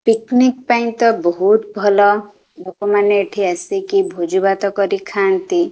Picnic ପାଇଁ ତ ବହୁତ୍ ଭଲ ଲୋକମାନେ ଏଠି ଆସିକି ଭୋଜି ଭାତ କରି ଖାଆନ୍ତି।